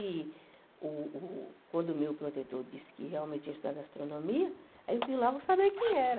E uh uh quando o meu protetor disse que realmente tinha estudado astronomia, aí eu quis logo saber quem era.